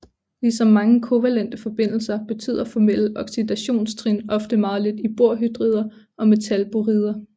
Ligesom mange kovalente forbindelser betyder formelle oxidationstrin ofte meget lidt i borhydrider og metalborider